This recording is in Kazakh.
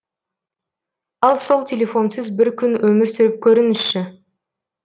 ал сол телефонсыз бір күн өмір сүріп көріңізші